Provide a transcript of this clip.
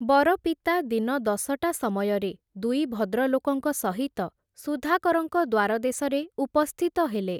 ବର ପିତା ଦିନ ଦଶଟା ସମୟରେ, ଦୁଇ ଭଦ୍ରଲୋକଙ୍କ ସହିତ, ସୁଧାକରଙ୍କ ଦ୍ଵାର ଦେଶରେ ଉପସ୍ଥିତ ହେଲେ ।